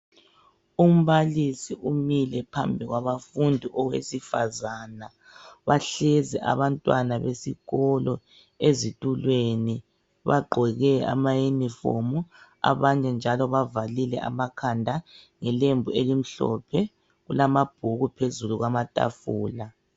Umbalisi umile phambi kwabafundi owesifazana bahlezi abantwana besikolo ezitulweni bagqoke amayunifomu abanye njalo bavalile amakhanda ngelembu elimhlophe kulamabhuku phezulu kwamatafula.